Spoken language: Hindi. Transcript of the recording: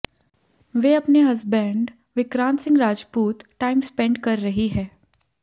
वे अपने husband Vikrant Singh Rajput time spend कर रही है